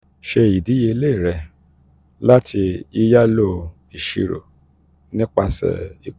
um ṣe idiyele rẹ lati yiyalo iṣiro nipasẹ ipo.